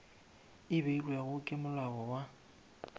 e beilwego ke molao wa